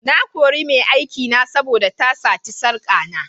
Na kore mai aikina saboda da sati sarka na.